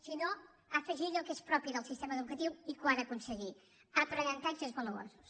sinó afegir allò que és propi del sistema educatiu i que ho ha d’aconseguir aprenentatges valuosos